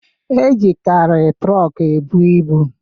E jikari trok e bu ịbụ